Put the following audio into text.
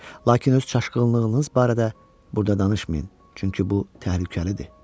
Lakin öz çaşqınlığınız barədə burda danışmayın, çünki bu təhlükəlidir.